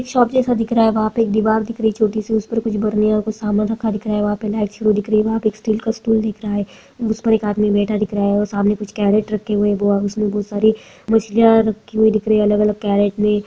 एक शॉप जैसा दिख रहा है वहाँ पे एक दिवार दिख रही है छोटी सी उस पर कुछ बर्नियाँ कुछ समान रखा दिख रहा है वहाँ पर लाइटे दिख रहा है वहाँ स्टील का स्टूल दिख रहा हैं उस पे एक आदमी बैठा दिख रहा है और सामने कुछ कैरट रखे हुए है वो उसमें बहुत सारी मछलीयाँ रखी हुई दिख रही है अलग-अलग कैरट में।